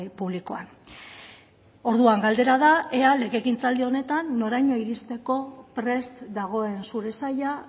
publikoan orduan galdera da ea legegintzaldi honetan noraino iristeko prest dagoen zure saila